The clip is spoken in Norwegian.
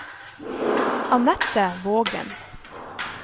Anette Vågen